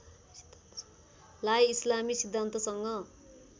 लाई इस्लामी सिद्धान्तसँग